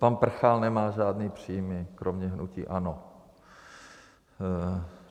Pan Prchal nemá žádné příjmy kromě hnutí ANO.